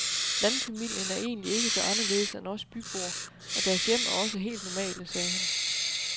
Landfamilien er egentlig ikke så anderledes end os byboer, og deres hjem er også helt normale, sagde han.